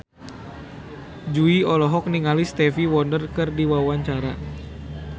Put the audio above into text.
Jui olohok ningali Stevie Wonder keur diwawancara